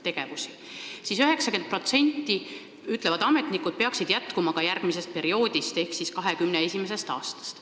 90% nendest tegevustest, ütlevad ametnikud, peaksid jätkuma ka järgmisel perioodil ehk alates 2021. aastast.